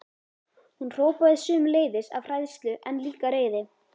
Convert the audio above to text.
Hún hrópaði sömuleiðis, af hræðslu en líka reiði.